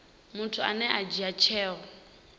muthu ane a dzhia tsheo